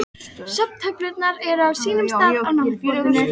Símonarson jós yfir mig mannskemmandi ósvífni.